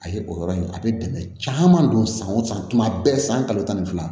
A ye o yɔrɔ in a bɛ dɛmɛ caman don san o san tuma bɛɛ san kalo tan ni fila